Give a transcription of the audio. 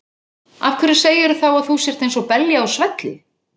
Af hverju segirðu þá að þú sért eins og belja á svelli?